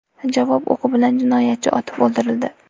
Javob o‘qi bilan jinoyatchi otib o‘ldirildi.